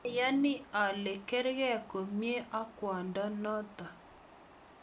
ayani ale kargei komye ak kwondo noto